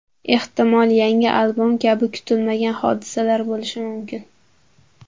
Ehtimol, yangi albom kabi kutilmagan hodisalar bo‘lishi mumkin”.